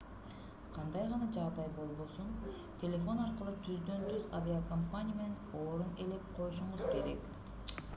кандай гана жагдай болбосун телефон аркылуу түздөн-түз авиакомпания менен орун ээлеп коюшуңуз керек